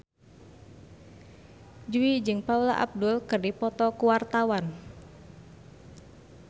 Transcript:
Jui jeung Paula Abdul keur dipoto ku wartawan